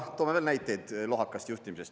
Toome veel näiteid lohakast juhtimisest.